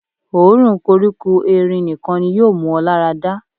Òórùn koríko erin nìkan ni yóò mú ọ lára dà.